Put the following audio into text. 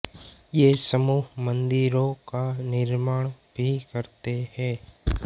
ये समूह मंदिरों का निर्माण भी करते हैं